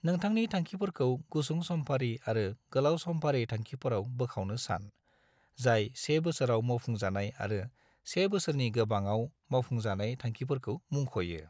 नोथांनि थांखिफोरखौ गुसुं-समफारि आरो गोलाव-समफारि थांखिफोराव बोखावनो सान, जाय से बोसोराव मावफुंजानाय आरो से बोसोरनि गोबाङाव मावफुंजानाय थांखिफोरखौ मुंख'यो।